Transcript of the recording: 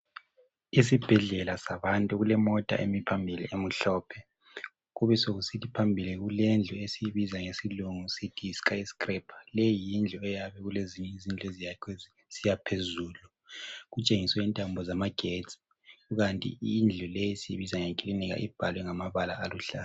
Isibhedlela sabantu, kulemota emi phambili emuhlophe. Kube sekusithi phambili kulendlu esiyibiza ngesilungu sithi yi skyscraper. Leyi yindlu eyabe kulezinye eyakhiwe ezinye izindlu zisiya phezulu. Kutshengiswe intambo zamagetsi. Ukanti indlu le siyibiza nge clinic, ibhalwe ngamabala aluhlaza